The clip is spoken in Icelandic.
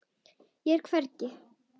Ég er hvergi.